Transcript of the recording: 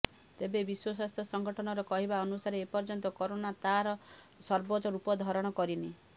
ତେବେ ବିଶ୍ୱ ସ୍ୱାସ୍ଥ୍ୟ ସଙ୍ଗଠନର କହିବା ଅନୁସାରେ ଏପର୍ଯ୍ୟନ୍ତ କୋରୋନା ତାର ସର୍ବୋଚ୍ଚ ରୂପ ଧାରଣ କରିନି